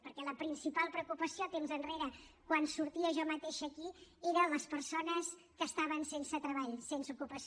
perquè la principal preocupació temps enrere quan sortia jo mateixa aquí era les persones que estaven sense treball sense ocupació